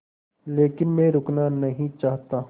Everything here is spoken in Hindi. लेकिन मैं रुकना नहीं चाहता